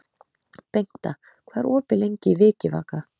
Bengta, hvað er opið lengi í Vikivaka?